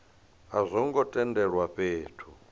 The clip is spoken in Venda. a zwo ngo tendelwa fhethu